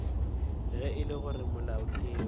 ge e le gore molaotheo